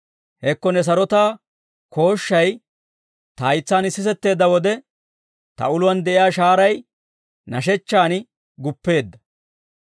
Hekko ne sarotaa kooshshay ta haytsaan sisetteedda wode, ta uluwaan de'iyaa shahaaray nashechchaan guppeedda.